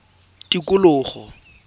tikologo